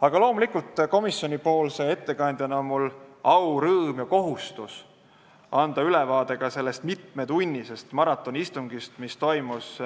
Aga loomulikult, komisjoni ettekandjana on mul au, rõõm ja kohustus anda ülevaade ka sellest mitmetunnisest maratonistungist, mis toimus